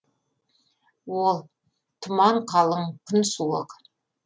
ол тұман қалың күн суық